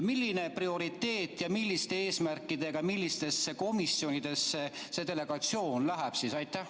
Milline on prioriteet ja milliste eesmärkidega millistesse komisjonidesse see delegatsioon läheb?